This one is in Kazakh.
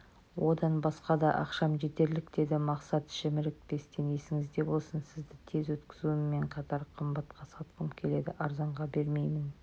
одан басқа да ақшам жетерлік деді мақсат шімірікпестен есіңізде болсын сізді тез өткізуіммен қатар қымбатқа сатқым келеді арзанға бермеймін